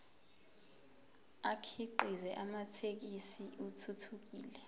akhiqize amathekisthi athuthukile